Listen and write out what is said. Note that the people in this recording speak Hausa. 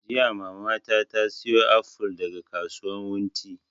Jiya mama ta saya aful daga kasuwan wunti